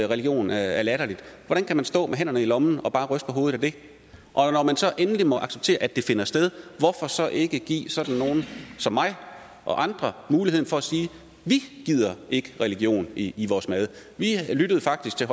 religion er latterligt hvordan kan man stå med hænderne i lommen og bare ryste på hovedet af det og når man så endelig må acceptere at det finder sted hvorfor så ikke give sådan nogle som mig og andre muligheden for at sige vi gider ikke religion i i vores mad vi lyttede faktisk til